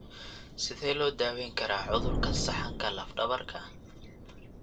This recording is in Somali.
Sidee loo daweyn karaa cudurka saxanka laf dabarka?